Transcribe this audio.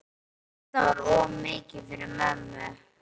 Þetta var of mikið fyrir mömmu.